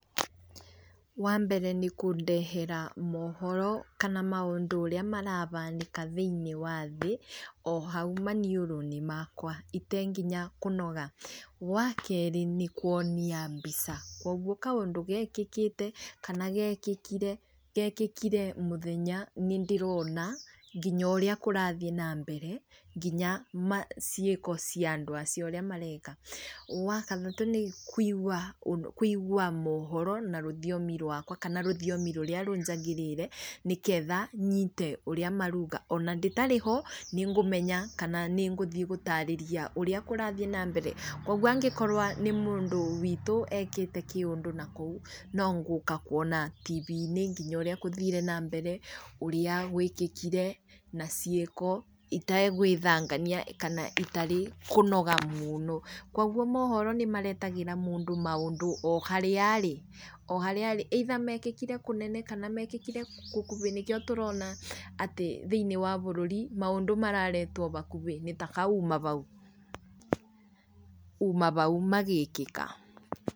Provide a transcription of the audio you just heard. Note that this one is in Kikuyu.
Wa mbere nĩ kũndehera mohoro kana maũndũ ũrĩa marabanĩka thĩiniĩ wa thĩ, o haũ maniũrũ-inĩ makwa itenginya kũnoga. Wa kerĩ, nĩ kuonia mbica, koguo kaũndũ gekĩkĩte, kana gekĩkire, gekĩkire mũthenya, nĩ ndĩrona nginya ũrĩa kũrathiĩ na mbere, nginya ciĩko cia andũ acio ũrĩa mareka. Wa kathatũ, nĩ kuigua mohoro na rũthiomi rwakwa kana rũthiomi rũrĩa rũnjagaĩrĩire nĩ ketha nyite ũrĩa maruga. Ona ndĩtarĩ ho nĩ ngũmenya kana nĩ ngũthiĩ gũtarĩrĩa ũrĩa kũrathi na mbere. Koguo angĩkorwo nĩ mũndũ witũ ekĩte kĩundũ nakũu, no ngũka kuona tibi-inĩ nginya ũrĩa kũthire na mbere, ũrĩa gwĩkĩkire, na ciĩko itegwĩthangania kana itarĩ kũnoga mũno. Koguo mohoro nĩ maretagĩra mũndũ maũndũ o harĩa arĩ, o harĩa arĩ, either mekĩkire kũnene na mekĩkire gũkubĩ nĩkĩo tũrona atĩ thĩiniĩ wa bũrũri maũndũ mararetwo bakubĩ na ta ka uma bau, uma bau magĩkĩka.